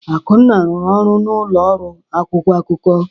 Akunna rụrụ ọrụ n'ụlọ ọrụ akwụkwọ akụkọ.